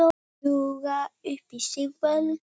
Ljúga upp á sig völdum?